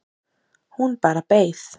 Hún bara beið